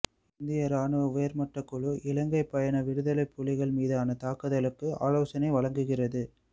இந்திய ராணுவ உயர்மட்ட குழு இலங்கை பயணம் விடுதலைப் புலிகள் மீதான தாக்குதலுக்கு ஆலோசனை வழங்குகிறது